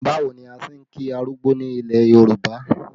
Báwo ni a ṣe ń kí arúgbó ní ilẹ̀ Yorùbá?